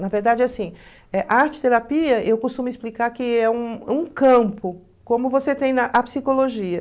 Na verdade, assim, eh arte-terapia, eu costumo explicar que é um campo, como você tem na a psicologia.